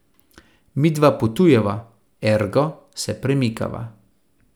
Midva potujeva, ergo se premikava.